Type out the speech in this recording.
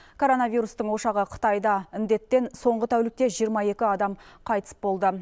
коронавирустың ошағы қытайда індеттен соңғы тәулікте жиырма екі адам қайтыс болды